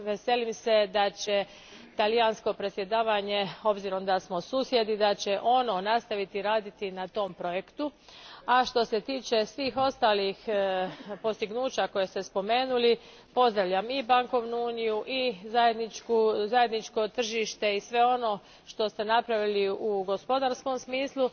Veselim se da će talijansko predsjedavanje, obzirom da smo susjedi, nastaviti raditi na tom projektu, a što se tiče svih ostalih postignuća koja ste spomenuli pozdravljam i bankovnu uniju i zajedničko tržište i sve ono što ste napravili u gospodarskom smislu.